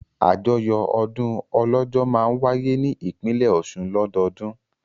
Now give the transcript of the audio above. Àjọyọ̀ ọdún Ọlọ́jọ́ máa wáyé ní ìpínlẹ̀ Ọ̀ṣun lọ́dọọdún.